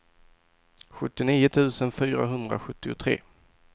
sjuttionio tusen fyrahundrasjuttiotre